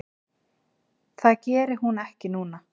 Það geri hún ekki núna.